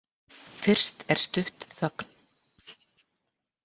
Fyrst er stutt þögn.